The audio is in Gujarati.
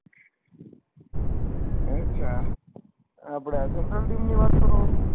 અચ્છા છે આપળે central team ની વાત કરો